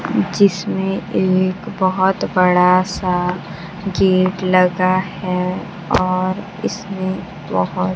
जिसमें एक बहोत बड़ा सा गेट लगा है और इसमें बहोत --